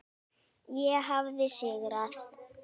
Ég hafði sigrað.